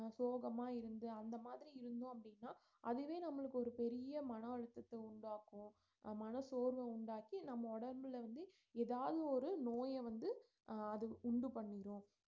சோகமா இருந்து அந்தமாரி இருந்தோம் அப்படின்னா அதுவா நம்மளுக்கு ஒரு பெரிய மன அழுத்தத்த உண்டாக்கும் அஹ் மன சோர்வ உண்டாக்கி நம்ப உடம்புல வந்து ஏதாவது ஒரு நோய்ய வந்து அஹ் அது உண்டு பண்ணிடும்